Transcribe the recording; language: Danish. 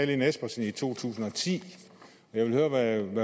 lene espersen i to tusind og ti jeg vil høre hvad hun